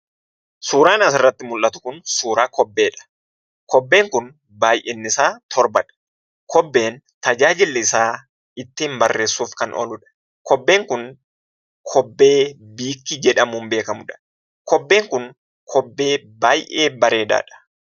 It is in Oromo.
Suuraan asirratti mullatu kun suuraa kobbeedha. Kobbeen kun baayyinnisaa torbadha. Kobbeen tajaajilli isaa ittiin barreessuuf kan ooludha. Kobbeen kun kobbee biikkkii jedhamuun beekamudha. Kobbeen kun kobbee baay'ee bareedaadha.